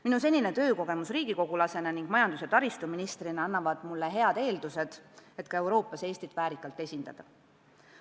Minu senine töökogemus riigikogulasena ning majandus- ja taristuministrina annab mulle head eeldused ka Euroopas Eestit väärikalt esindada.